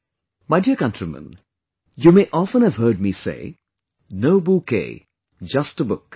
My dear countrymen, you may often have heard me say "No bouquet, just a book"